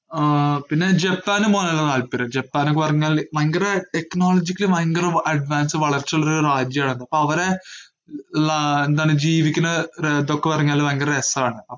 ആഹ് പിന്നെ ജപ്പാനിൽ പോവാൻ നല്ല താല്പര്യം, ജപ്പാന് പറഞ്ഞാല് ഭയങ്കര technologically ഭയങ്കര advance വളർച്ചയുള്ളൊരു രാജ്യാർന്നു, അപ്പോ അവരെ ലാ~ എന്താണ് ജീവിക്കണ അഹ് ഇതൊക്കെ പറഞ്ഞാല് ഭയങ്കര രസാണ്.